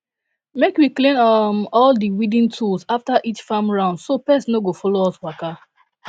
make we clean um all di weeding tools after each farm round so pest no go follow us waka